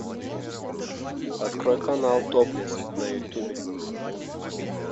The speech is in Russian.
открой канал топлес на ютубе